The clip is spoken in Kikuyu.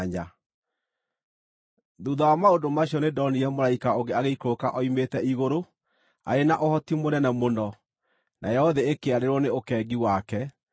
Thuutha wa maũndũ macio nĩndonire mũraika ũngĩ agĩikũrũka oimĩte igũrũ arĩ na ũhoti mũnene mũno, nayo thĩ ĩkĩarĩrwo nĩ ũkengi wake.